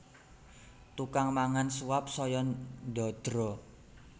Tukang mangan suap saya ndadra